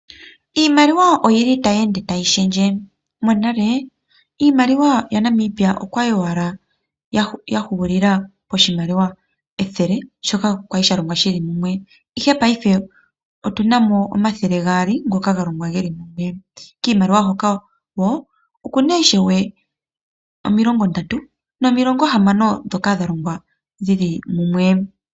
Iimaliwa oyili tayi ende tayi shendje. Monale iimaliwa yaNamibia okwali owala yahulila poshimaliwa ethele shoka kwali shalongwa shili mumwe ihe paife otunamo omathele gaali ngoka galongwa geli mumwe, kiimaliwa hoka wo okuna ishewe omilongo ndatu nomilongo hamano dhoka dhalongwa dhili mumwe.